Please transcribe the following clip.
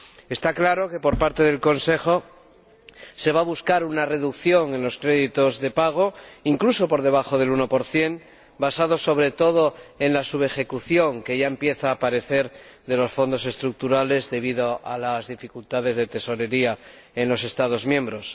Está claro que, por parte del Consejo, se va a buscar una reducción de los créditos de pago, incluso por debajo del 1 basada sobre todo en la subejecución que ya empieza a aparecer de los Fondos Estructurales, debido a las dificultades de tesorería en los Estados miembros.